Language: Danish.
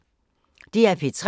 DR P3